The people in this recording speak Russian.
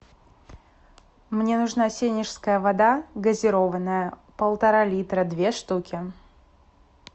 мне нужна сенежская вода газированная полтора литра две штуки